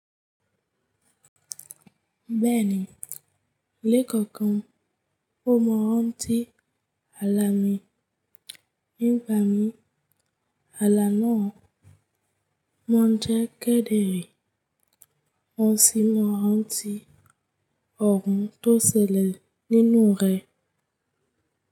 Bẹ́ẹ̀ni, lẹ́kọ̀ọ̀kan ó mọn n ranti hala mi. Nígba mi, hala náà mọ̀ ń jẹ́ kẹ́dẹ̀re. Mọ́ sì mọ n rantu tí ọ̀un tó ṣẹlẹ̀ nínú rẹ̀.